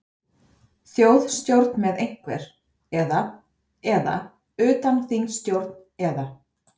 Þjóðstjórn með einhver, eða, eða utanþingsstjórn eða?